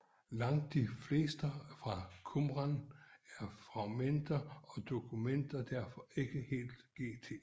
Langt de fleste skrifter fra Qumran er fragmenter og dokumenterer derfor ikke hele GT